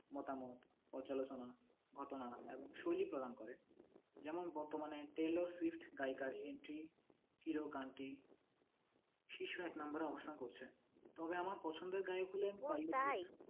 মতামত অচালোচনা এবং প্রদান করে যেমন বর্তমানে টেইলর শিফট গায়িকার এন্টি হিরো গানটি শীর্ষ এক number এ অবসান করেছে তবে আমার পছন্দের গায়ক হলেন